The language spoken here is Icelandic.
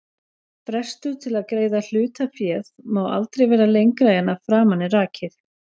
Frestur til að greiða hlutaféð má aldrei vera lengra en að framan er rakið.